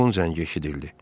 Telefon zəngi eşidildi.